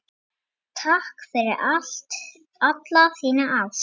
Takk fyrir alla þína ást.